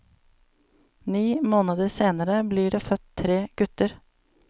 Ni måneder senere blir det født tre gutter.